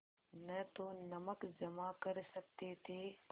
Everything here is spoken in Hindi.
न तो नमक जमा कर सकते थे